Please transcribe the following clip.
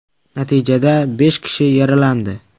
Natijada besh kishi yaralandi.